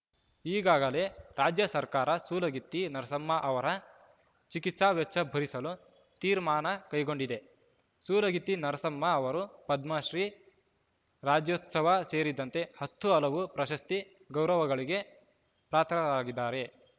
ಈಗಾಗಲೇ ರಾಜ್ಯ ಸರ್ಕಾರ ಸೂಲಗಿತ್ತಿ ನರಸಮ್ಮ ಅವರ ಚಿಕಿತ್ಸಾ ವೆಚ್ಚ ಭರಿಸಲು ತೀರ್ಮಾನ ಕೈಗೊಂಡಿದೆ ಸೂಲಗಿತ್ತಿ ನರಸಮ್ಮ ಅವರು ಪದ್ಮಶ್ರೀ ರಾಜ್ಯೋತ್ಸವ ಸೇರಿದಂತೆ ಹತ್ತು ಹಲವು ಪ್ರಶಸ್ತಿ ಗೌರವಗಳಿಗೆ ಪಾತ್ರರಾಗಿದ್ದಾರೆ